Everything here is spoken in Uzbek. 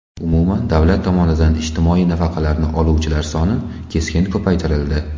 Umuman, davlat tomonidan ijtimoiy nafaqalarni oluvchilar soni keskin ko‘paytirildi.